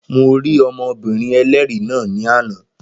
Mo rí ọmọbìnrin ẹlẹ́rìí náà ní àná